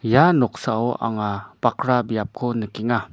ia noksao anga bakra biapko nikenga.